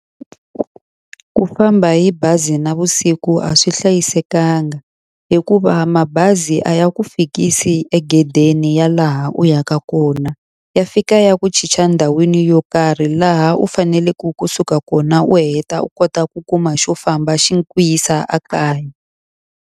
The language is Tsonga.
Ku famba hi bazi navusiku a swi hlayisekanga. Hikuva mabazi a ya ku fikisi egedeni ya laha u yaka kona, ya fika ya ku chicha ndhawini yo karhi laha u faneleke kusuka kona u heta u kota ku kuma xo famba xi ku yisa ekaya.